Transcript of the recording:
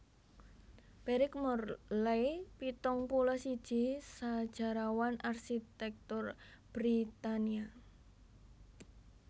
Beric Morley pitung puluh siji sajarawan arsitèktur Britania